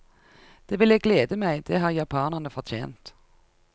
Det ville glede meg, det har japanerne fortjent.